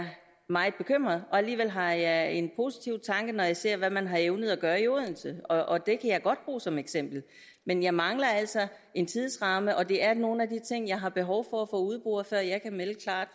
meget bekymret og alligevel har jeg en positiv tanke når jeg ser hvad man har evnet at gøre i odense og det kan jeg godt bruge som eksempel men jeg mangler altså en tidsramme og det er nogle af de ting jeg har behov for at få udboret før jeg kan melde klart